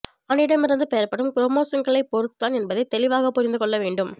ஆணிடமிருந்து பெறப்படும் குரோமோசோம்களை பொருத்துதான் என்பதை தெளிவாக புரிந்துகொள்ள வேண்டும்